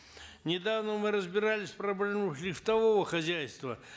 недавно мы разбирались в проблемах лифтового хозяйства